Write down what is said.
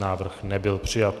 Návrh nebyl přijat.